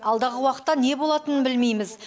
алдағы уақытта не болатынын білмейміз